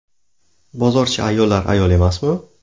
Bozorchi ayollar ayol emasmi?